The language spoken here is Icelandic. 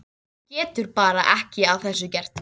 Hún getur bara ekki að þessu gert.